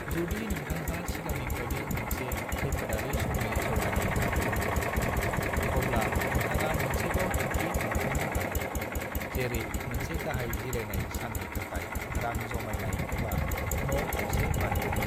जुदि नोंथांहा सिगांनिफ्रायनो मोनसे खैफोदारि समनि जमायनाय रां दंबोला, अब्ला नोंथाङा मोनसेबाव थांखि मोनफुंनो हागौ, जेरै मोनसे गाहाय जिरायनाय सान्नि थाखाय रां जमायनाय एबा न' गंसे बायनाय।